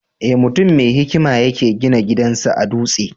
Eh, mutum mai hikima ya ke gina gidan sa a dutse.